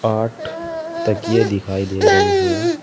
आठ तकिए दिखाई दे रहे हैं।